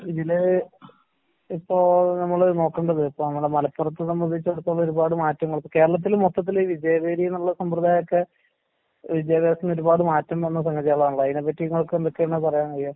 ഇതില് ഇപ്പോ നമ്മള് നോക്കണ്ടത് ഇപ്പ നമ്മടെ മലപ്പുറത്തെ സംബന്ധിച്ചിടത്തോളം ഒരുപാട് മാറ്റങ്ങള്, ഇപ്പ കേരളത്തില് മൊത്തത്തില് വിജയ വീഥിന്നുള്ള സംബ്രദായോക്കെ വിദ്യാഭ്യാസത്തീന്ന് ഒരുപാട് മാറ്റം വന്ന സംഗതികളാണല്ലോ, അയിനെപ്പറ്റി ഇങ്ങൾക്കെന്തൊക്കെയാണ് പറയാനറിയാ?